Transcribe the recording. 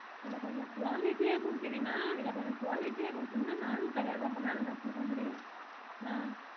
இதுல கொஞ்ச quality ஆஹ் குடுத்திங்கனா இது கொஞ்ச quality ஆஹ் குடுத்திங்கனா நானோ கடைய ரொம்ப நாலு வெச்சிருக்க முடியும்